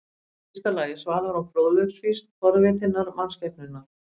Í fyrsta lagi svalar hún fróðleiksfýsn forvitinnar mannskepnunnar.